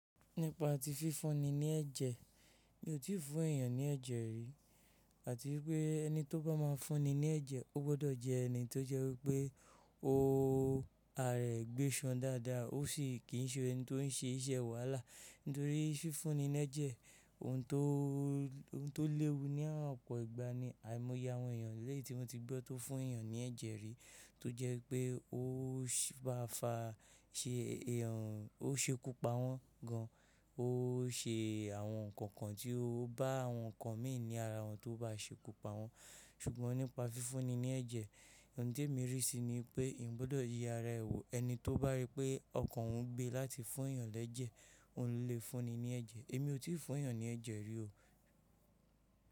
Nípa tí fífúnni ní ẹ̀jẹ̀, mi ò tí ì fún èèyàn ní ẹ̀jẹ̀ rí àti wípé ẹni tó bá máa fúnni ní ẹ̀jẹ̀ ó gbọ́dọ̀ jẹ́ ẹni tó jẹ́ wípé ó ara ẹ̀ gbéṣan dáadáa ó sì kí ń ṣe ẹni tó ń ṣe iṣẹ́ wàhálà nítorí fífúnni ní ẹ̀jẹ̀, òun tó léwu ní àwọn ọ̀pọ̀ ìgbà ni àìmọye àwọn èèyàn lẹ́yìn tí wọ́n ti gbọ́ tó fún èèyàn ní ẹ̀jẹ̀ rí tó jẹ́ pé ó bá fa ṣe èèyàn, ó ṣekú pa wọ́n gan an, ó ṣe àwọn nǹkan kan tí ó bá àwọn nǹkan mi ní ara wọn tó bá ṣekú pa wọ́n ṣùgbọ́n nípa fífúnni ní ẹ̀jẹ̀, ohùn ti ẹ́mi rí sí i ni pé eeyan gbọ́dọ̀ ye ara ẹ wò nbe, ẹni tó bá rí pé ọkàn òun gbé láti fún èèyàn lẹ́ẹ̀jẹ̀, òun lè fúnni ní ẹ̀jẹ̀ èmi ò tí ì fún èèyàn ní ẹ̀jẹ̀ rí o.